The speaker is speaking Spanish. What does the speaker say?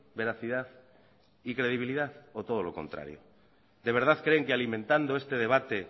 veracidad y credibilidad o todo lo contrario de verdad creen que alimentando este debate